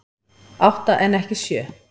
Átta en ekki sjö